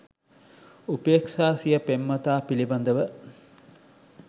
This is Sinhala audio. උපේක්ෂා සිය පෙම්වතා පිළිබඳව